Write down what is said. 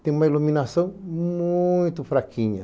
Tem uma iluminação muito fraquinha.